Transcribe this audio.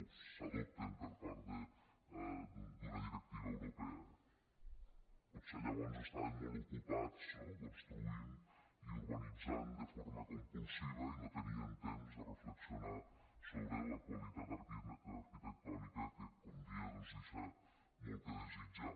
o s’adopten per part d’una directiva europea potser llavors estaven molt ocupats no construint i urbanitzant de forma compulsiva i no tenien temps de reflexionar sobre la qualitat arquitectònica que com deia doncs deixa molt a desitjar